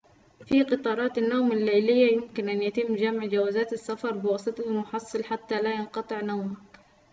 في قطارات النوم الليلية يمكن أن يتم جمع جوازات السفر بواسطة المحصل حتى لا ينقطع نومك